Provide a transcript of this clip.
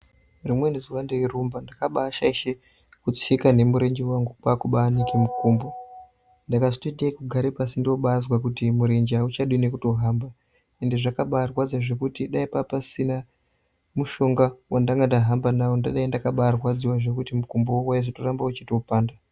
Rimweni zuwa ndeirumba ndakabashaisha kutsika nemurenje wangu kwakubanike mukumbo ndakazotoite yekugara pashi ndobazwa kuti murenje auchadi nekuhamba ende zvakabarwadza zvekutoti dai papasina mushonga wandandahamba nawo mukumbowo wazotoramba uchipanda